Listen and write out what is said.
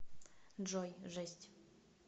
джой жесть